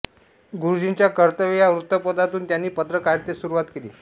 गुरुजींच्या कर्तव्य या वृत्तपत्रातून त्यांनी पत्रकारितेस सुरुवात केली